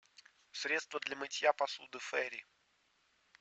средство для мытья посуды фейри